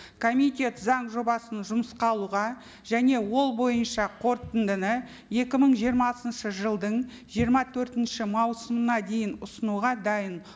комитет заң жобасын жұмысқа алуға және ол бойынша қорытындыны екі мың жиырмасыншы жылдың жиырма төртінші маусымына дейін ұсынуға дайын